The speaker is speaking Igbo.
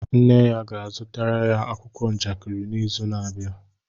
Nne ya ga-azụtara ya akwụkwọ njakịrị n'izu na-abịa